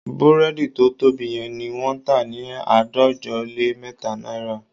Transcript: Búrẹ́dì tó tóbi yẹn ni wọ́n tà ní àádọ́jọ lé mẹ́ta náírà